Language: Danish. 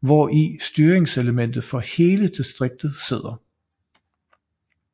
hvor i styringselementet for hele distriktet sidder